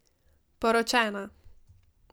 Poročena!